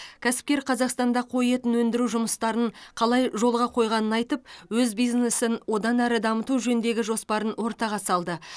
кәсіпкер қазақстанда қой етін өндіру жұмыстарын қалай жолға қойғанын айтып өз бизнесін одан әрі дамыту жөніндегі жоспарын ортаға салды